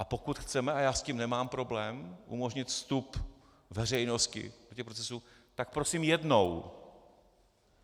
A pokud chceme - a já s tím nemám problém - umožnit vstup veřejnosti do těch procesů, tak prosím jednou.